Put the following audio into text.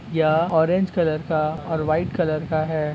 यह orange colour का और वाइट कलर का है।